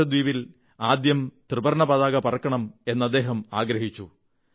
ലക്ഷദ്വീപിൽ ആദ്യം ത്രിവർണ്ണ പതാക പറക്കണം എന്നദ്ദേഹം ആഗ്രഹിച്ചു